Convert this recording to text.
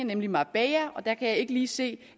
nemlig marbella og der kan jeg ikke lige se